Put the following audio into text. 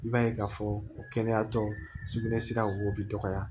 I b'a ye k'a fɔ kɛnɛya tɔ sugunɛ sira wo bi dɔgɔya